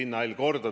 Nõus!